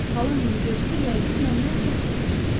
Xalam bunu görsə, yəqin məndən çox sevinərdi.